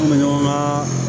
An bɛ ɲɔgɔn ka